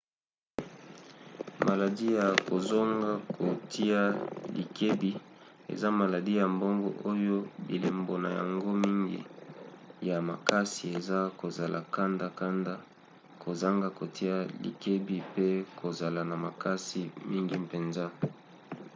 maladi ya kozonga kotia likebi eza maladi ya boongo oyo bilembo na yango mingi ya makasi eza kozala kanda-kanda kozanga kotia likebi pe kozala na makasi mingi mpenza